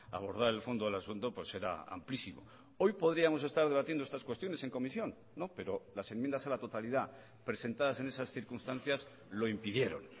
abordar el fondo del asunto pues era amplísimo hoy podríamos estar debatiendo estas cuestiones en comisión pero las enmiendas a la totalidad presentadas en esas circunstancias lo impidieron